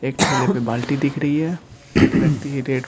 एक ठेले पे बाल्टी दिख री है एक व्यक्ति कि ।